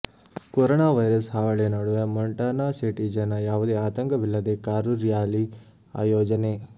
corona virus ಹಾವಳಿ ನಡುವ Montana city ಜನ ಯಾವುದೇ ಆತಂಕವಿಲ್ಲದೆ ಕಾರು ರ್ಯಾಲಿ ಆಯೋಜನೆ